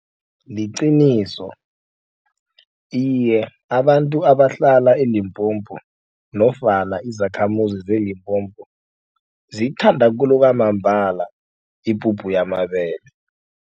Liqiniso iye abantu abahlala eLimpopo nofana izakhamuzi zeLimpopo ziyithanda khulu kwamambala ipuphu yamabele.